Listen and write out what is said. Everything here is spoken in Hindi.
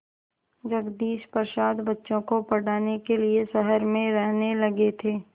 जगदीश प्रसाद बच्चों को पढ़ाने के लिए शहर में रहने लगे थे